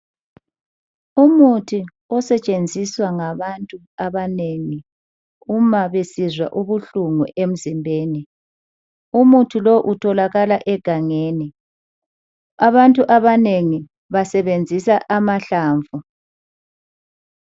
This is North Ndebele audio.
Umuthi osetshenziswa ngabantu abanengi uma besizwa ubuhlungu emzimbeni. Umuthi lo utholakala egangeni. Abantu abanengi basebenzisa amahlamvu.